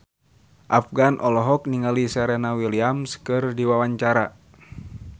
Afgan olohok ningali Serena Williams keur diwawancara